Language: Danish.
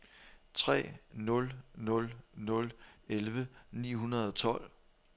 tre nul nul nul elleve ni hundrede og tolv